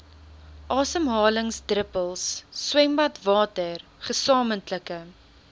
asemhalingsdruppels swembadwater gesamentlike